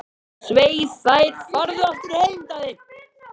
Svei þér og farðu aftur heim, Daði!